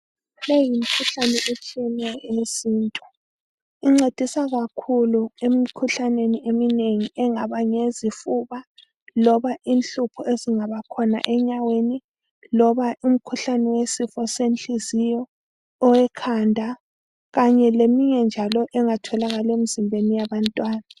Minengi imikhuhlane etshiyeneyo eyesintu incedisa kakhulu emikhuhlaneni eminengi engaba ngeyezifuba loba inhlupho ezingaba khona enyaweni, loba imkhuhlane yesifo senhliziyo, owekhanda, kanye leminye njalo engatholakala emzimbeni yabantwana.